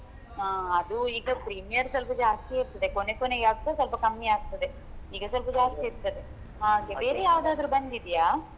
ಹಾ ಅದು ಈಗ premier ಸ್ವಲ್ಪ ಜಾಸ್ತಿ ಇರ್ತದೆ ಕೊನೆ ಕೊನೆ ಆಗುವಾಗ ಸ್ವಲ್ಪ ಕಮ್ಮಿಯಾಗ್ತದೆ ಈಗ ಸ್ವಲ್ಪ ಜಾಸ್ತಿ ಇರ್ತದೆ ಹಾಗೆ ಬೇರೆ ಯಾವದಾದ್ರು ಬಂದಿದೆಯಾ?